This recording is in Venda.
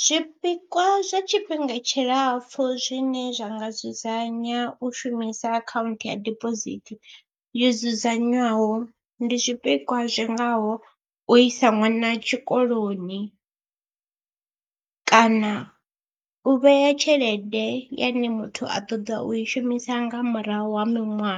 Zwipikwa zwa tshifhinga tshilapfhu zwine zwa nga dzudzanya u shumisa akhaunthu ya dibosithi yo dzudzanywaho, ndi zwipikwa zwi ngaho u isa ṅwana tshikoloni kana u vhea tshelede yane muthu a ṱoḓa u i shumisa nga murahu ha miṅwaha